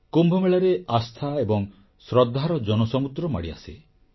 କୁମ୍ଭମେଳାରେ ଆସ୍ଥା ଏବଂ ଶ୍ରଦ୍ଧାର ଜନସମୁଦ୍ର ମାଡ଼ିଆସେ